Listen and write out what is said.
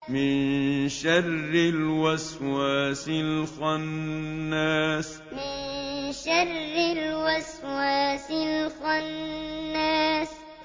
مِن شَرِّ الْوَسْوَاسِ الْخَنَّاسِ مِن شَرِّ الْوَسْوَاسِ الْخَنَّاسِ